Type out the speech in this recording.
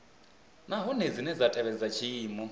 nahone dzine dza tevhedza tshiimo